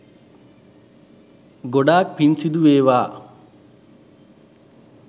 ගොඩක් පින් සිදුවේවා